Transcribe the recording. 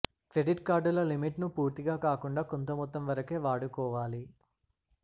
credit కార్డుల limit ను పూర్తిగా కాకుండా కొంత మొత్తం వరకే వాడుకోవాలి